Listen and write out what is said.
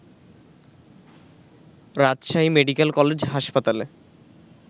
রাজশাহী মেডিকলে কলেজ হাসপতালে